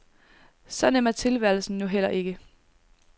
Så nem er tilværelsen nu heller ikke.